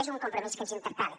és un compromís que ens interpel·la